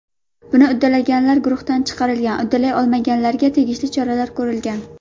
Buni uddalaganlar guruhdan chiqarilgan, uddalay olmaganlarga tegishli choralar ko‘rilgan.